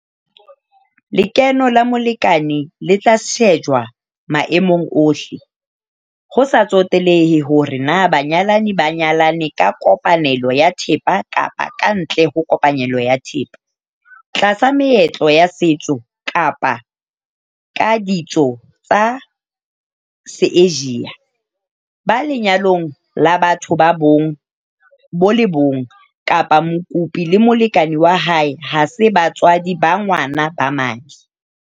Lekeno la molekane le tla shejwa maemong ohle - ho sa tsotelehe hore na banyalani ba nyalane ka kopanelo ya thepa kapa kantle ho kopanelo ya thepa, tlasa meetlo ya setso kapa ka ditso tsa Seasia, ba lenyalong la batho ba bong bo le bong kapa mokopi le molekane wa hae ha se batswadi ba ngwana ba madi.